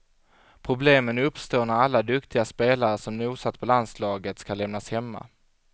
Problemen uppstår när alla duktiga spelare som nosat på landslaget ska lämnas hemma.